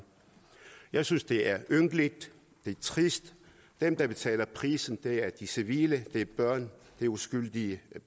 jeg synes det er ynkeligt det er trist dem der betaler prisen er de civile det er børn det er uskyldige